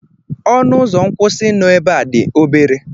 Ọnụ ụzọ nkwụsị nọ ebe a dị obere.